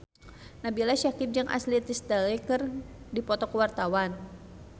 Nabila Syakieb jeung Ashley Tisdale keur dipoto ku wartawan